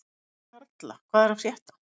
Karla, hvað er að frétta?